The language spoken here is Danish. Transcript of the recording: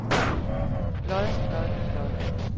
lod lod lod